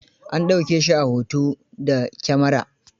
An ɗauke shi a hoto da kyamara.